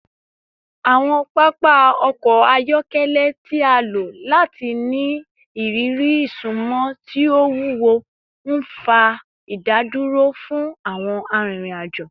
Awọn papa ọkọ ayọkẹlẹ ti a lo lati ni iriri isunmọ ti o wuwo, nfa idaduro fun awọn arinrin-ajo